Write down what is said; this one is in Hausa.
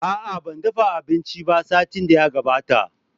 Aa, ban dafa abinci ba satin da ya gabata.